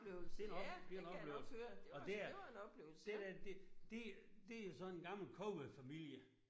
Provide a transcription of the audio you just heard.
Det en op det en oplevelse og det er det der det det det er sådan en gammel kongefamilie